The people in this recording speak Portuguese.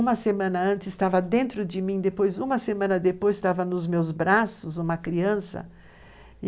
Uma semana antes estava dentro de mim, depois, uma semana depois, estava nos meus braços uma criança.